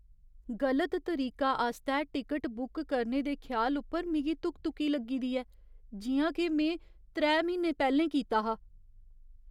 गलत तरीका आस्तै टिकट बुक करने दे ख्याल उप्पर मिगी धुक धुकी लग्गी दी ऐ, जि'यां के में त्रै म्हीने पैह्लें कीता हा।